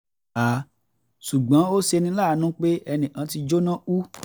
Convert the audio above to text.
ṣùgbọ́n ó ṣe ní láàánú pé ẹnì kan ti jóná kú